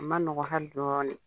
O ma nɔgɔ hali dɔɔni